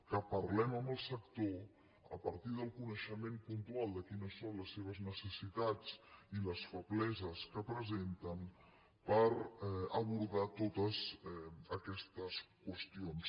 que parlem amb el sector a partir del coneixement puntual de quines són les seves necessitats i les febleses que presenten per abordar totes aquestes qüestions